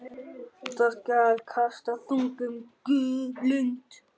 Þá skal kasta þungum blund.